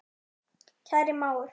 Kæri mágur.